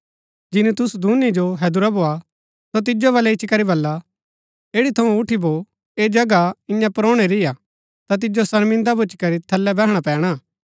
जिनी तुसु दूनी जो हैदुरा भोआ सो तिजो बलै इच्ची करी बल्ला ऐठी थऊँ उठी भौ ऐह जगह ईयां परोहणै री हा ता तिजो शर्मिन्दा भूच्ची करी थलै बैहणा पैणा